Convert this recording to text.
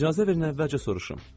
İcazə ver, nəvəlcə soruşum.